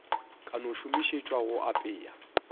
ka no šomišetšwa go apea